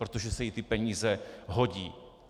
Protože se jí ty peníze hodí.